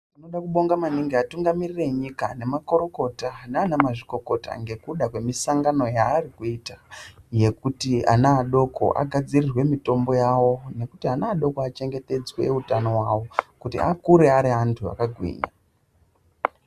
Tinoda kubonga maningi atungamiriri enyika, nemakurukota nana mazvikokota ngekuda kwemisangano yaarikuita yekuti ana adoko agadzirirwe mitombo yawo nekuti ana adoko achengetedzwe utano wawo kuti akure ari antu akagwinya.